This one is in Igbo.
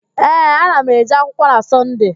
Ee, ana m eje akwụkwọ na Sọnde